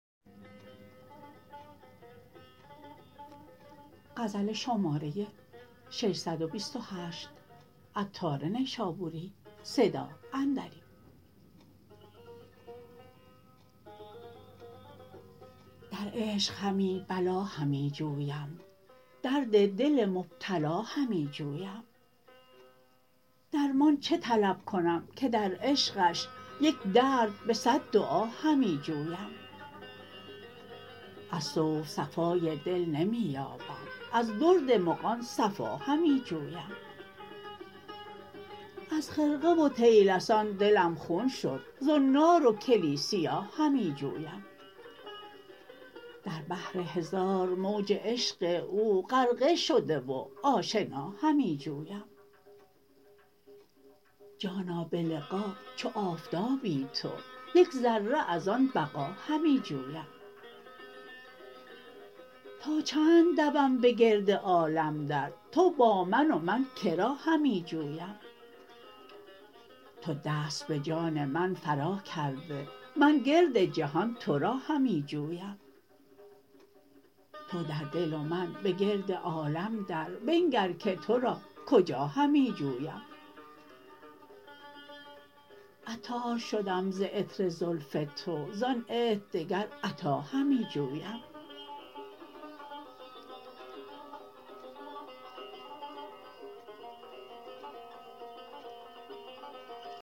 در عشق همی بلا همی جویم درد دل مبتلا همی جویم در مان چه طلب کنم که در عشقش یک درد به صد دعا همی جویم از صوف صفای دل نمی یابم از درد مغان صفا همی جویم از خرقه و طیلسان دلم خون شد زنار و کلیسیا همی جویم در بحر هزار موج عشق او غرقه شده و آشنا همی جویم جانا به لقا چو آفتابی تو یک ذره از آن بقا همی جویم تا چند دوم به گرد عالم در تو با من و من که را همی جویم تو دست به جان من فرا کرده من گرد جهان تورا همی جویم تو در دل و من به گرد عالم در بنگر که تورا کجا همی جویم عطار شدم ز عطر زلف تو زان عطر دگر عطا همی جویم